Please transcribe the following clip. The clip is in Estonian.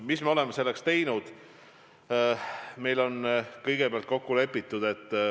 Mida me oleme selleks teinud?